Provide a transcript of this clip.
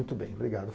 Muito bem, obrigada.